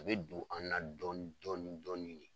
U be don an na dɔɔni dɔɔni dɔɔni de.